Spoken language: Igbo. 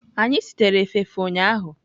Anyị sitere efefe ụnyahụ.